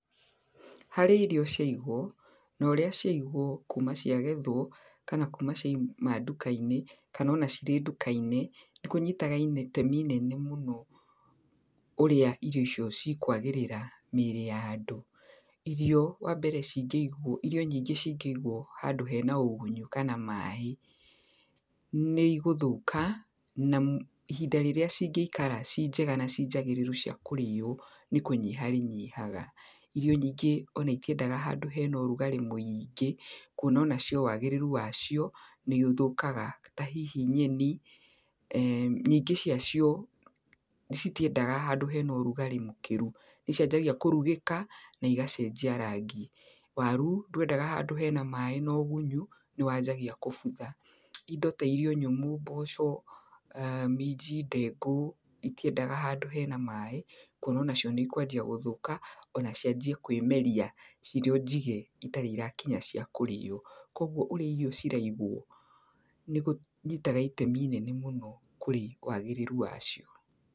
Harĩa irio ciaigwo na ũria cĩagwo kuma ciagethwo, kana kuma cua uma nduka-inĩ, kana cire nduka-inĩ. Nĩ kũnyitaga itemĩ inene mũno ũrĩa irio icio cikũagerera mĩrĩ ya andũ. Irio wa mbere cingeigwo, irio nyingĩ cingeigwo handũ hena ũgunyo kana maaĩ nĩ igũthoka na ihinda rĩrĩa cingeikara ci njega na cinjagereru cia kũrĩo nĩ kũnyiha rĩnyihaga. Irio nyingĩ ona itiendaga handũ hena ũrugare mũĩngĩ, kũona nacĩo wagererũ wacĩo nĩũthũkanga ta hĩhĩ nyenĩ. Nyingĩ wa cio citiendaga handũ hena ũrugarĩ mũkĩru nĩ cianjagia kũrugĩka na igacenjia rangi. Waru ndwendagaga handũ hena maaĩ na ũgũnyo nĩ wanjagia kũbũtha. Indo ta irio nyũmũ, mboco, minji, ndengũ, itiendaga handũ hena maaĩ kuona ũnacĩo nĩ cikwanjĩa gũthũka ona cianjĩe kũĩmeria cirĩo njige itare irakinya ciakũrĩo. Kũguo ũrĩa irio ciraigwo nĩ kũnyitaga ĩtemĩ rĩnene mũno kũrĩ wagereru wacio.